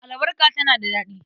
Albarka tana da daɗi.